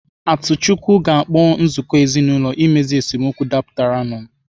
Atuchukwu ga-akpọ nzukọ ezinaụlọ imezu esemokwu dapụtara nu